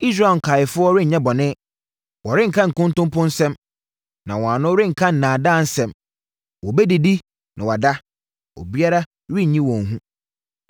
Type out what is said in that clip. Israel nkaeɛfoɔ renyɛ bɔne Wɔrenka nkontonpo nsɛm, na wɔn ano renka nnaadaa nsɛm wɔbɛdidi na wɔada na obiara renyi wɔn hu.”